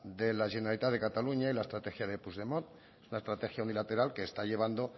de la generalitat de cataluña y la estrategia de puigdemont una estrategia unilateral que está llevando